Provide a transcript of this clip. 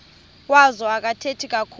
wazo akathethi kakhulu